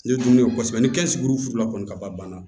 Ne dun ye kɔsɛbɛ ni kɛnzuru kɔni ka ban